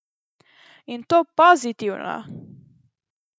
In to pozitivno!